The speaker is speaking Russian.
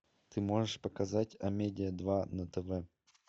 ты можешь показать амедиа два на тв